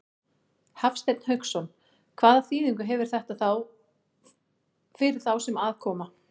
Hafsteinn Hauksson: Hvaða þýðingu hefur þetta fyrir þá sem að koma?